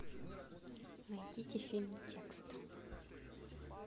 найдите фильм текст